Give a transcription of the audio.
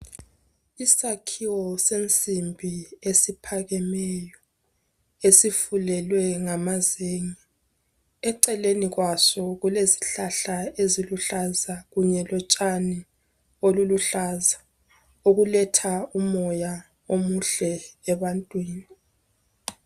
Isakhiwo sensimbi esiphakemeyo, esifulelwe ngamazenge, eceleni kwaso kulezihlahla eziluhlaza kunye lotshani obuluhlaza, okuletha umoya omuhle ebantwini.